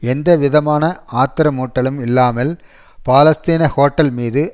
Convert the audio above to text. எந்த விதமான ஆத்திரமூட்டலும் இல்லாமல் பாலஸ்தீன ஹோட்டல் மீது